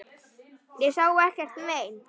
Ég sá ekkert mein.